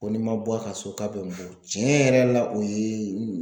Ko ni n ma bɔ a ka so ,k'a bɛ n bon. tiɲɛ yɛrɛ la o ye